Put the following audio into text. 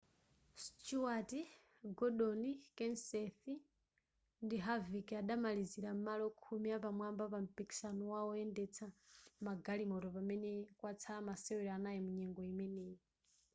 stewart gordon kenseth ndi harvick adamalizira m'malo khumi apamwamba pa mpikisano wa woyendetsa magalimoto pamene kwatsala masewero anayi munyengo imeneyi